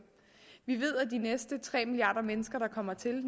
vi ved at de næste tre milliarder mennesker der kommer til